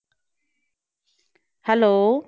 Hello